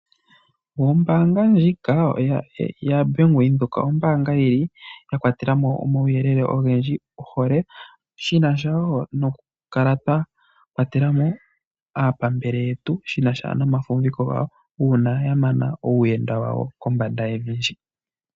Ombanga ndjika yaBank Windhoek ombanga yili ya kwatelemo omauyelele ogendji shi nasha wo nokukala twa kwatelamo aapambele yetu shi nasha nomafumviko gawo uuna ya mana uuyenda wawo kombanda yevi.